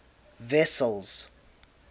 wessels